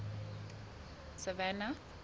savannah